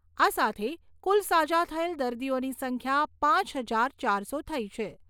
આ સાથે કુલ સાજા થયેલ દર્દીઓની સંખ્યા પાંચ હજાર ચારસો થઈ છે.